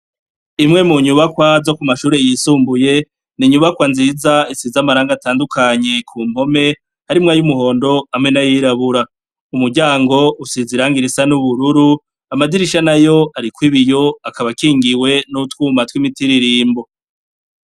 Imwe munyubakwa zo kumashure yisumbuye ninyubakwa nziza isize amarangi atandukanye kumpome harimwo ayumuhondo hamwe nayirabura, umuryango usize irangi risa nubururu amadirisha nayo ariko ibiyo akaba akingiwe nutwuma twimitiririmbo.